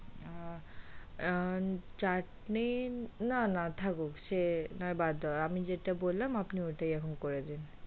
আ আ চাটনি না না থাকুক সে নয় বাদ দেওয়া আমি যেটা বললাম আপনি ওটাই এখন করে দিন।